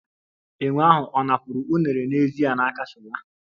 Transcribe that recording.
Enwe ahụ ọ̀ napụrụ unere n'ezie n'akpa Shola?